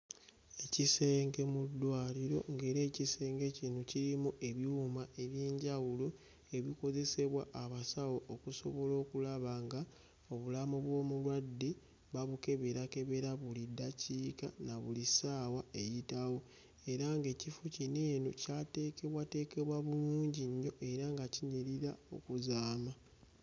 Ekisenge mu ddwaliro ng'era ekisenge kino kirimu ebyuma eby'enjawulo ebikozesebwa abasawo okusobola okulaba ng'obulamu bw'omulwadde babukeberakebera buli ddakiika na buli ssaawa eyitawo era ng'ekifo kino eno kyateekebwateekebwa bulungi nnyo era nga kinyirira okuzaama.